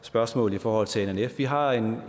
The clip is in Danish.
spørgsmål i forhold til nnf vi har en